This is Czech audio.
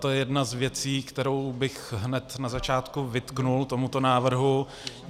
To je jedna z věcí, kterou bych hned na začátku vytkl tomuto návrhu.